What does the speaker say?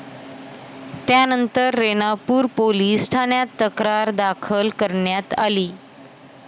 त्यानंतर रेणापूर पोलीस ठाण्यात तक्रार दाखल करण्यात आली.